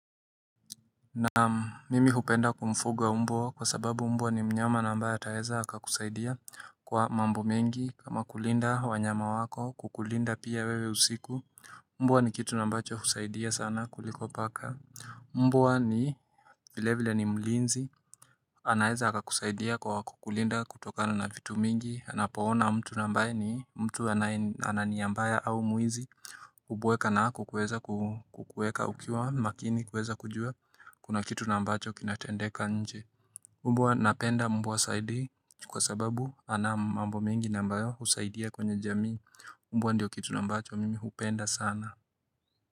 Naam, mimi hupenda kumfuga mbwa kwa sababu mbwa ni mnyama na ambaye ataweza akakusaidia kwa mambo mengi kama kulinda wanyama wako, kukulinda pia wewe usiku Mbwa ni kitu ambacho husaidia sana kuliko paka. Mbwa ni, vile vile ni mlinzi. Anaeza akakusaidia kwa kukulinda kutokana na vitu mingi anapoona mtu ambaye ni mtu anania mbaya au mwizi, hubweka na kukuweza kukuweka ukiwa makini kueza kujua kuna kitu na ambacho kinatendeka nje. Mbwa napenda mbwa saidi kwa sababu ana mambo mengi ambayo husaidia kwenye jamii Mbwa ndio kitu ambacho mimi hupenda sana.